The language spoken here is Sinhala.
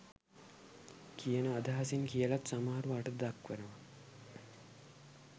කියන අදහසින් කියලත් සමහරු අර්ථ දක්වනවා.